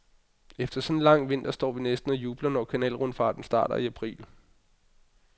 Efter sådan en lang vinter står vi næsten og jubler, når kanalrundfarten starter i april.